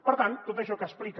per tant tot això que explica